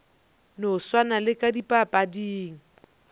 no swana le ka dipapading